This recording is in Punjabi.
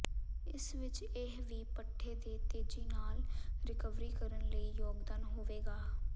ਇਸ ਵਿਚ ਇਹ ਵੀ ਪੱਠੇ ਦੇ ਤੇਜ਼ੀ ਨਾਲ ਰਿਕਵਰੀ ਕਰਨ ਲਈ ਯੋਗਦਾਨ ਹੋਵੇਗਾ